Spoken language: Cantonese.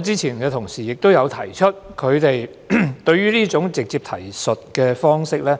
之前同事亦有提出，他們對於這種直接提述方式感